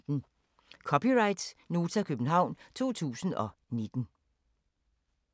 (c) Nota, København 2019